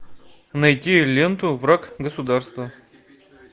найти ленту враг государства